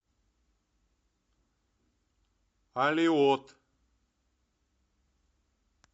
алиот